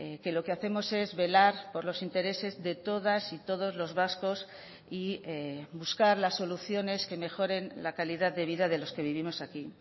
que lo que hacemos es velar por los intereses de todas y todos los vascos y buscar las soluciones que mejoren la calidad de vida de los que vivimos aquí